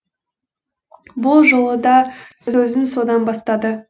бұл жолы да сөзін содан бастады